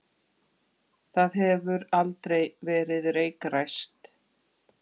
Það hefur aldrei verið reykræst.